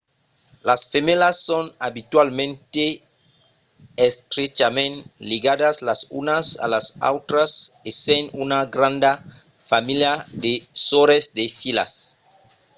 las femèlas son abitualament estrechament ligadas las unas a las autras essent una granda familha de sòrres e de filhas